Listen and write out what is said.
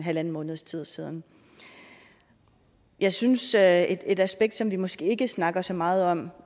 halvanden måneds tid siden jeg synes at et aspekt som vi måske ikke snakker så meget om